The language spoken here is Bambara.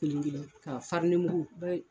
Kelen-kelen ka farinimugu bɛɛ y